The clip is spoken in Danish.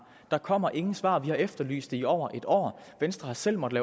der kommer ingen svar vi har efterlyst det i over et år venstre har selv måttet